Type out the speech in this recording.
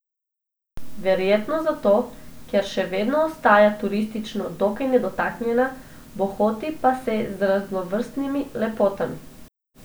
Verjetno zato, ker še vedno ostaja turistično dokaj nedotaknjena, bohoti pa se z raznovrstnimi lepotami.